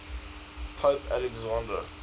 pope alexander